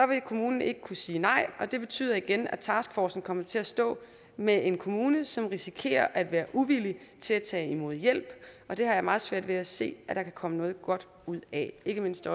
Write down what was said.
vil kommunen ikke kunne sige nej og det betyder igen at taskforcen kommer til at stå med en kommune som risikerer at være uvillig til at tage imod hjælp og det har jeg meget svært ved at se der kan komme noget godt ud af ikke mindst